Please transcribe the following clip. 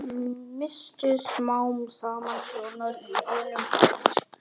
Misstu smám saman sjónar á hinum bát